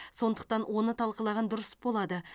сондықтан оны талқылаған дұрыс болады